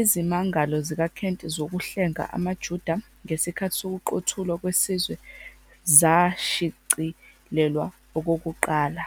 izimangalo zikaKent zokuhlenga amaJuda ngesikhathi sokuQothulwa Kwesizwe zashicilelwa okokuqala.